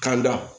Ka da